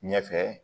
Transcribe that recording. Ɲɛfɛ